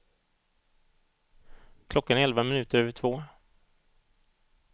Klockan är elva minuter över två.